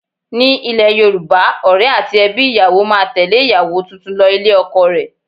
Ní ile Yorùbá, Ọ̀rẹ́ àti ẹbí ìyàwó máa tẹle ìyàwó tuntun lọ ilé ọkọ rẹ̀.